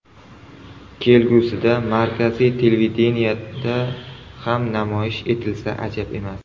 Kelgusida markaziy televideniyeda ham namoyish etilsa ajab emas.